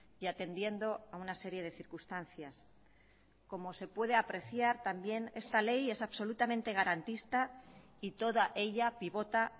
y atendiendo a una serie de circunstancias como se puede apreciar también esta ley es absolutamente garantista y toda ella pivota